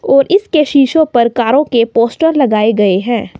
और इसके शीशों पर कारों के पोस्टर लगाए गए हैं।